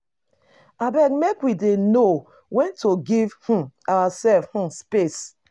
Abeg make we dey know wen to give um oursef um space.